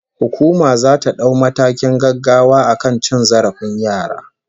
Hukuma zata dau matakin gaggawa akan cin zarafin yara